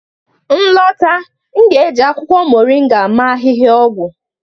m lọta, m ga-eji akwụkwọ moringa mee ahịhịaọgwụ